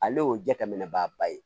Ale y'o jateminɛba ye